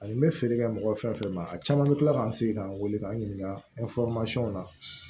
Ani n bɛ feere kɛ mɔgɔ fɛn fɛn ma a caman bɛ kila k'an sigi k'an wele k'an ɲininka na